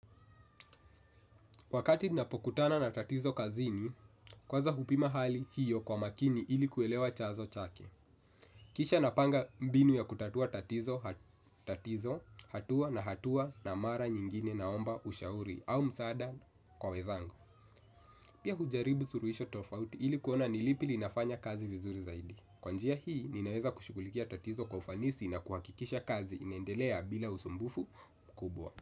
Wakati ninapokutana na tatizo kazini, kwanza hupima hali hiyo kwa makini ili kuelewa chanzo chake. Kisha napanga mbinu ya kutatua tatizo, hatua na hatua na mara nyingine na omba ushauri au msaada kwa wenzangu. Pia hujaribu suluhisho tofauti ili kuona nilipi linafanya kazi vizuri zaidi. Kwa njia hii, ninaweza kushughulikia tatizo kwa ufanisi na kuhakikisha kazi inaendelea bila usumbufu mkubwa.